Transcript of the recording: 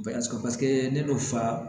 Bɛɛ sɔrɔ paseke ne nun fa